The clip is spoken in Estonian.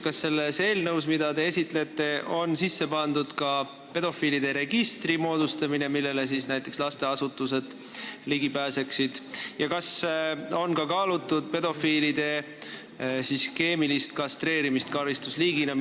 Kas selles eelnõus, mida te esitlete, on sisse pandud ka pedofiilide registri moodustamine, millele pääseksid ligi näiteks lasteasutused, ja kas on kaalutud ka pedofiilide keemilist kastreerimist karistusliigina?